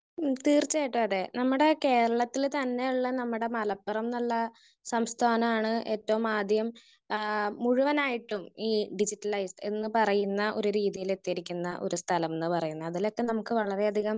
Speaker 1 തീർച്ചയായിട്ടും അതെ. നമ്മടെ കേരളത്തില് തന്നെയുള്ള നമ്മുടെ മലപ്പുറന്നുള്ള സംസ്ഥാനാണ് ഏറ്റവും ആദ്യം ആഹ് മുഴുവനായിട്ടും ഈ ഡിജിറ്റലൈസ് എന്ന് പറയുന്ന ഒരു രീതിയിലെത്തിയിരിക്കുന്ന ഒരു സ്ഥലം എന്ന് പറയുന്നത്. അതിലൊക്കെ നമുക്ക് വളരെയധികം